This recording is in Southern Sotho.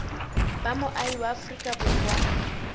ba moahi wa afrika borwa